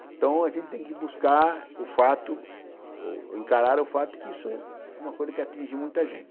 Então, a gente tem que buscar o fato, encarar o fato que isso é uma coisa que atinge muita gente.